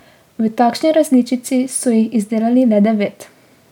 V takšni različici so jih izdelali le devet.